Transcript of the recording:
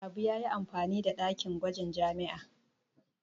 Habu ya yi amfani da dakin gwajin jami'a.